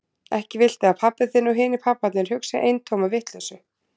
Ekki viltu að pabbi þinn og hinir pabbarnir hugsi eintóma vitleysu?